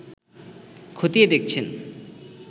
খতিয়ে দেখছেন